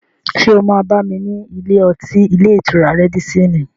Ṣé o máa bá mi ní ilé-ọtí ilé-ìtura Rádísín-ìn?